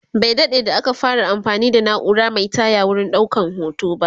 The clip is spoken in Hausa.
Bai daɗe da aka fara anfani da naura Mai taya wurin ɗaukan hoto ba